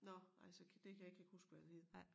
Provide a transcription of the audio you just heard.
Nåh ej så der kan jeg ikke lige huske hvad han hed